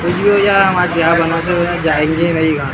कुछ भी हो यार हम आज यहाँ जाएंगे ही नहीं ।